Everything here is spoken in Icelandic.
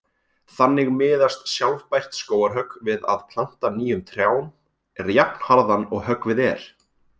Þannig miðast sjálfbært skógarhögg við að planta nýjum trjám jafnharðan og höggvið er.